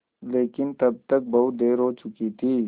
लेकिन तब तक बहुत देर हो चुकी थी